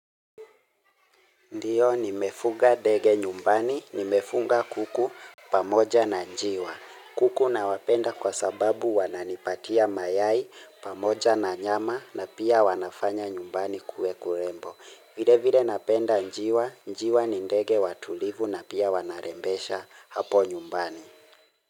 Ndiyo nimefuga ndege nyumbani, nimefuga kuku pamoja na njiwa. Kuku nawapenda kwa sababu wananipatia mayai pamoja na nyama na pia wanafanya nyumbani kuwe kurembo. Vile vile napenda njiwa, njiwa ni ndege watulivu na pia wanarembesha hapo nyumbani.